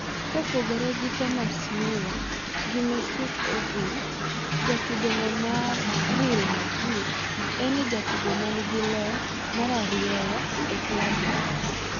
kopogore gi Thomas Muller gi Mesut Ozil, jatugono mar Real Madrid en e jatugo manigi lony mararieya e klab no.